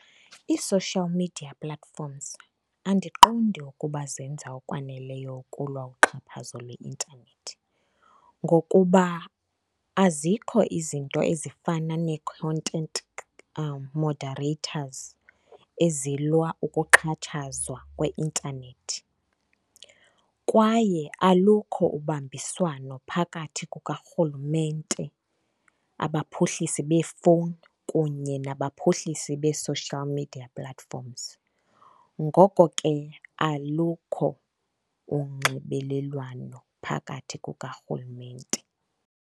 Ii-social media platforms andiqondi ukuba zenza okwaneleyo ukulwa uxhaphazo lwe-internet ngokuba azikho izinto ezifana nee-content moderators ezilwa ukuxhatshazwa kweintanethi. Kwaye alukho ubambiswano phakathi kukarhulumente, abaphuhlisi beefowuni kunye nabaphuhlisi bee-social media platforms. Ngoko ke alukho unxibelelwano phakathi kukarhulumente.